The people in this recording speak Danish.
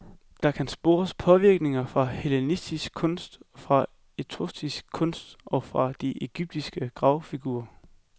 Der kan spores påvirkninger fra hellenistisk kunst, fra etruskisk kunst og fra de ægyptiske gravfigurer.